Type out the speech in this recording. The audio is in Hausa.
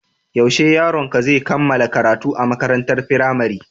Yaushe yaronka zai kammala karatu a makarantar firamare?